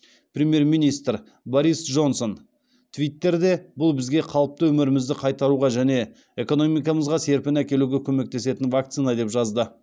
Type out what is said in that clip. премьер министр борис джонсон твиттерде бұл бізге қалыпты өмірімізді қайтаруға және экономикамызға серпін әкелуге көмектесетін вакцина деп жазды